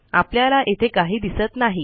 आपल्याला येथे काही दिसत नाही